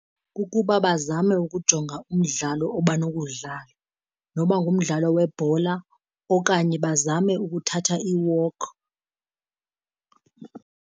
Kukuba bazame ukujonga umdlalo abanokuwudlala, noba ngumdlalo webhola. Okanye bazame ukuthatha i-walk.